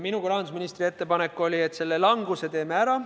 Minu kui rahandusministri ettepanek oli, et selle languse teeme ära.